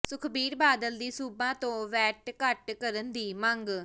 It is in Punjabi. ਸੁਖਬੀਰ ਬਾਦਲ ਦੀ ਸੂਬਾ ਤੋਂ ਵੈੱਟ ਘਟ ਕਰਨ ਦੀ ਮੰਗ